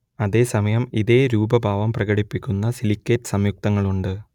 അതേ സമയം ഇതേ രൂപഭാവം പ്രകടിപ്പിക്കുന്ന സിലിക്കേറ്റ് സംയുക്തങ്ങളുണ്ട്